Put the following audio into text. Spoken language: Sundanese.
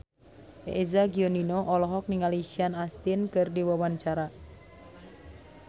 Eza Gionino olohok ningali Sean Astin keur diwawancara